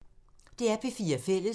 DR P4 Fælles